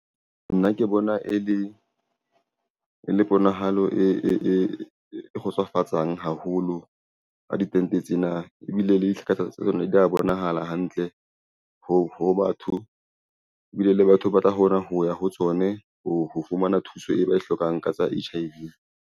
Nna ke bona e le ponahalo e kgotsofatsang haholo. Ha ditente tsena ebile di a bonahala hantle ho batho ebile le batho ba tla hona ho ya ho tsone ho fumana thuso e ba e hlokang ka tsa H_I_V.